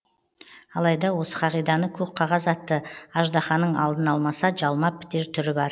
алайда осы қағиданы көк қағаз атты аждаханың алдын алмаса жалмап бітер түрі бар